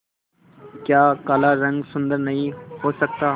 क्या काला रंग सुंदर नहीं हो सकता